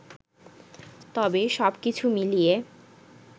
তবে, সবকিছু মিলিয়ে